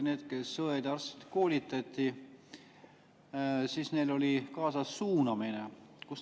Neil, keda õeks või arstiks koolitati, oli suunamine.